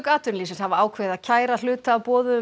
atvinnulífsins hafa ákveðið að kæra hluta af boðuðum